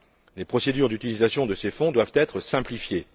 Les procédures d'utilisation de ces fonds doivent être simplifiées.